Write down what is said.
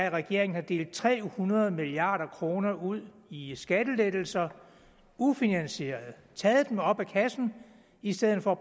at regeringen har delt tre hundrede milliard kroner ud i skattelettelser ufinansierede taget dem op af kassen i stedet for at